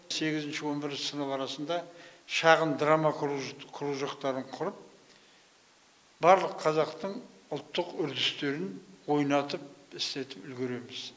сегізінші он бірінші сынып арасында шағын драма кружоктарын құрып барлық қазақтың ұлттық үрдістерін ойнатып істетіп үлгереміз